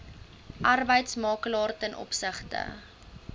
arbeidsmakelaar ten opsigte